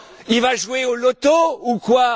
Il va jouer au loto ou quoi?